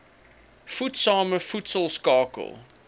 voedsame voedsel skakel